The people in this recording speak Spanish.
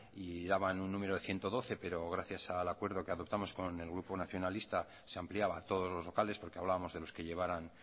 y daban un número de ciento doce pero gracias al acuerdo que adoptamos con el grupo nacionalista se ampliaba a todos los locales porque hablábamos de los que llevaran